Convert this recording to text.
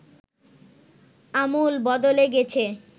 আমূল বদলে গেছে